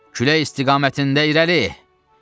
Külək istiqamətində irəli!"